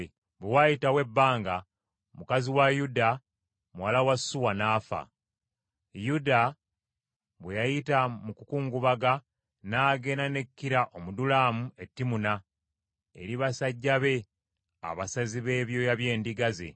Bwe waayitawo ebbanga mukazi wa Yuda, muwala wa Suwa n’afa. Yuda bwe yayita mu kukungubaga, n’agenda ne Kira Omudulamu e Timuna eri basajja be abasazi b’ebyoya by’endiga ze.